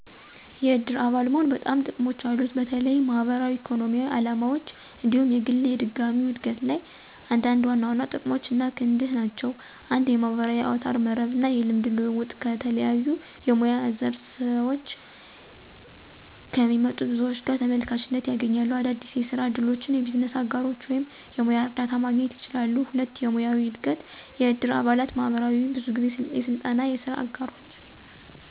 የእድር አባል መሆን በርካሽ ጥቅሞች አሉት፣ በተለይም ማህበራዊ፣ ኢኮኖሚያዊ ዓላማዎች እንዲሁም የግል የድጋሚው እድገት ላይ። አንዳንድ ዋና ዋና ጥቅሞች አና ክንድህ ናቸው 1. የማህበራዊ አውታረ መረብ እና የልምድ ልውውጥ - ከተለያዩ የሙያ ዘር ስዎች ከሚመጡ ብዙዎች ጋር ተመልካችነት ያገኛሉ። - አዳዲስ የስራ እድሎች፣ የቢዝነስ አጋሮች ወይም የሙያ እርዳታ ማግኘት ይችላሉ። 2. የሙያዊ እድገት** - የእድር አባላት ማህበራት ብዙ ጊዜ የስልጠና፣ የስራ አጋሮች፣